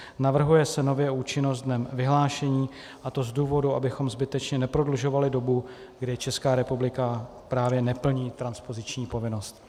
Navrhuje se nově účinnost dnem vyhlášení, a to z důvodu, abychom zbytečně neprodlužovali dobu, kdy Česká republika právě neplní transpoziční povinnost.